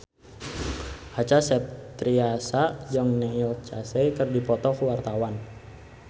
Acha Septriasa jeung Neil Casey keur dipoto ku wartawan